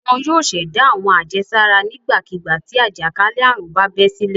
Wọn yóò ṣẹ̀dá àwọn àjẹsára nígbàkigbà tí àjàkálẹ̀ àrùn bá bẹ́ sílẹ̀.